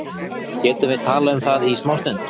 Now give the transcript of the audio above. Getum við talað um það í smástund?